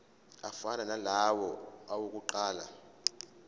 afana nalawo awokuqala